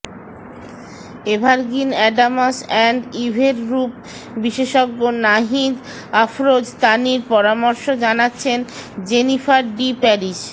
evergreen Adams and ইভের রূপ বিশেষজ্ঞ নাহিদ আফরোজ তানির পরামর্শ জানাচ্ছেন জেনিফার ডি প্যারিস